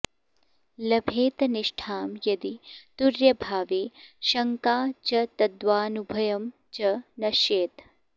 लभेत निष्ठां यदि तुर्यभावे शङ्का च तद्वानुभयं च नश्येत्